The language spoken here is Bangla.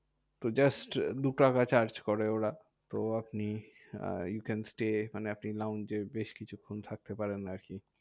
তো just দুটাকা charge করে ওরা। তো আপনি you can stay মানে আপনি launch এও বেশ কিছুক্ষণ থাকতে পারেন আরকি?